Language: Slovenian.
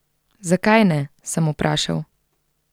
Zakaj ne, sem vprašal.